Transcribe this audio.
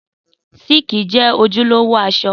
Síìkì jẹ́ ojúlówó aṣọ